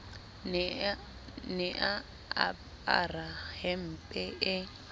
ne a apara hempe e